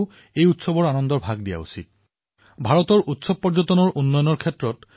আমাৰ ইয়াত প্ৰতিখন ৰাজ্য প্ৰতিখন ক্ষেত্ৰত বিভিন্ন ধৰণৰ উৎসৱ পালিত হয় আন দেশৰ লোকেও এই উৎসৱসমূহৰ প্ৰতি ৰুচি প্ৰদৰ্শন কৰে